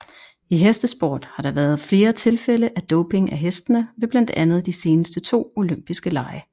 I hestesport har der været flere tilfælde af doping af hestene ved blandt andet de seneste to olympiske lege